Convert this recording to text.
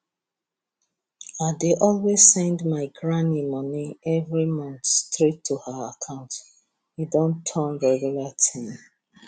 i dey always send my granny money every month straight to her account e don turn regular thing